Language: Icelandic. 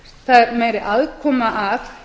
það er meiri aðkoma að